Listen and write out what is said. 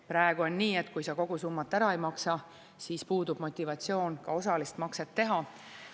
Praegu on nii, et kui sa kogu summat ära ei maksa, siis puudub motivatsioon ka osalist makset teha.